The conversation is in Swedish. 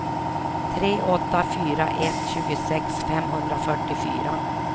tre åtta fyra ett tjugosex femhundrafyrtiofyra